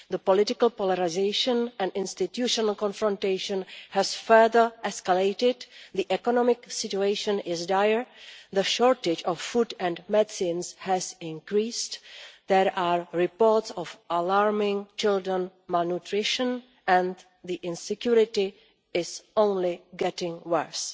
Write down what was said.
The political polarisation and institutional confrontation has further escalated, the economic situation is dire, the shortage of food and medicines has increased, there are reports of alarming child malnutrition, and the insecurity is only getting worse.